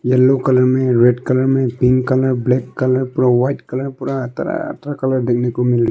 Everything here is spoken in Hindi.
येलो कलर में रेड कलर में पिंक कलर ब्लैक कलर पुर व्हाइट कलर पूरा तरह कलर देखने को मिल--